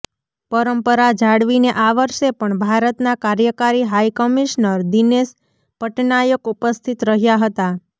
પરંપરા જાળવીને આ વર્ષે પણ ભારતના કાર્યકારી હાઈ કમિશનર દિનેશ પટનાયક ઉપસ્થિત રહ્યા હતા